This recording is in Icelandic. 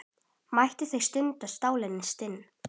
Mættust þá stundum stálin stinn.